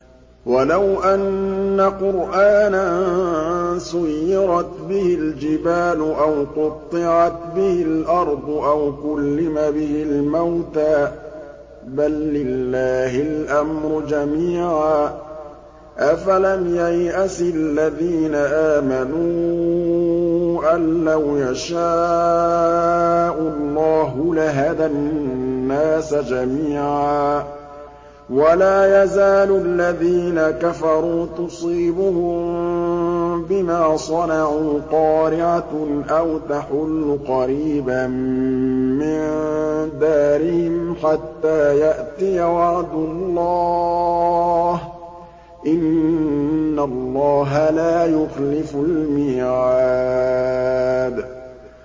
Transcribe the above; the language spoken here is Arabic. وَلَوْ أَنَّ قُرْآنًا سُيِّرَتْ بِهِ الْجِبَالُ أَوْ قُطِّعَتْ بِهِ الْأَرْضُ أَوْ كُلِّمَ بِهِ الْمَوْتَىٰ ۗ بَل لِّلَّهِ الْأَمْرُ جَمِيعًا ۗ أَفَلَمْ يَيْأَسِ الَّذِينَ آمَنُوا أَن لَّوْ يَشَاءُ اللَّهُ لَهَدَى النَّاسَ جَمِيعًا ۗ وَلَا يَزَالُ الَّذِينَ كَفَرُوا تُصِيبُهُم بِمَا صَنَعُوا قَارِعَةٌ أَوْ تَحُلُّ قَرِيبًا مِّن دَارِهِمْ حَتَّىٰ يَأْتِيَ وَعْدُ اللَّهِ ۚ إِنَّ اللَّهَ لَا يُخْلِفُ الْمِيعَادَ